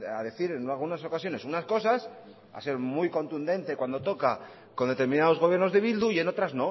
a decir en algunas ocasiones unas cosas a ser muy contundente cuando toca con determinados gobiernos de bildu y en otras